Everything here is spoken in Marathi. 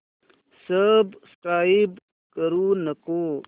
सबस्क्राईब करू नको